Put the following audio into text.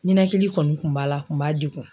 Ninakili kɔni kun b'a la a kun b'a degun.